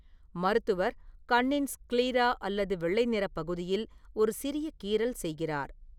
மருத்துவர், கண்ணின் ஸ்க்லீரா அல்லது வெள்ளை நிறப் பகுதியில் ஒரு சிறிய கீறல் செய்கிறார்.